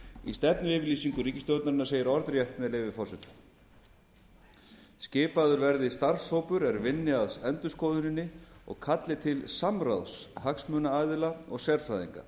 í stefnuyfirlýsingu ríkisstjórnarinnar segir orðrétt með leyfi forseta xxx05skipaður verði starfshópur er vinni að endurskoðuninni og kalli til samráðs hagsmunaaðila og sérfræðinga